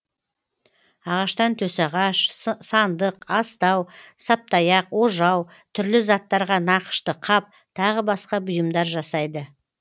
ағаштан төсағаш сандық астау саптаяқ ожау түрлі заттарға нақышты қап тағы басқа бұйымдар жасайды